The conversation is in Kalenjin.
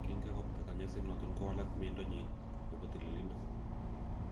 Kin kakobata konyoiset noton kowalak miendo nyin nebo tililido.